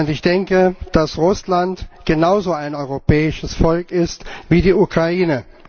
Ich denke, dass Russland genauso ein europäisches Volk ist wie die Ukraine.